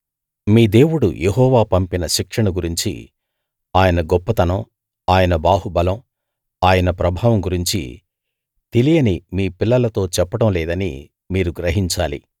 మీ దేవుడు యెహోవా పంపిన శిక్షను గురించీ ఆయన గొప్పతనం ఆయన బాహుబలం ఆయన ప్రభావం గురించీ తెలియని మీ పిల్లలతో చెప్పడం లేదని మీరు గ్రహించాలి